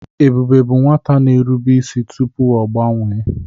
Ebube bụ nwata na-erube isi tupu ọ gbanwee.